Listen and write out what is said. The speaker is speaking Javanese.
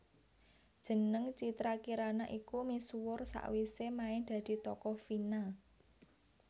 Jeneng Citra Kirana iku misuwur sawisé main dadi tokoh Vina